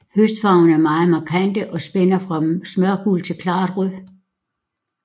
Høstfarverne er meget markante og spænder fra smørgul til klart rød